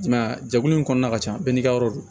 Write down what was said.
I m'a ye a jɛkulu in kɔnɔna ka ca bɛɛ n'i ka yɔrɔ don